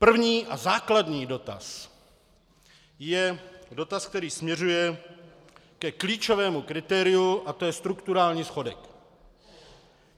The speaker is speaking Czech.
První a základní dotaz je dotaz, který směřuje ke klíčovému kritériu, a to je strukturální schodek.